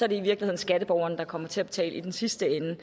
i virkeligheden skatteborgerne der kommer til at betale i den sidste ende